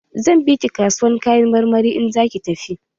Zan bi ki kasuwar Kayan marmari in za ki tafi.